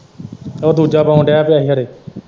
ਉਹ ਦੂਜਾ ਪਾਉਣ ਦਿਆਂ ਪਿਆ ਹੀ ਖਰੇ।